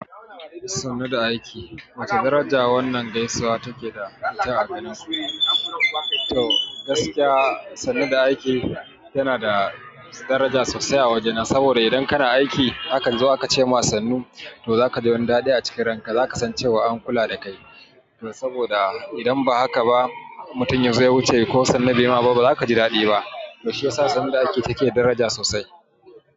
Sannu da aiki, wace daraja wannan gaisuwa take da ita a garensu? To gaskiya sannu da aiki yana da daraja sosai a wajena saboda idan kana aiki, akan zo aka cema sannu, to zaka ji wani dadi a ranka zaka san an kula da kai to saboda idan ba haka ba mutum ya zo ya wuce ko sannu bai ma ba ba zaka ji dadi ba. To shiyasa sannu da aiki take da daraja sosai.